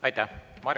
Aitäh!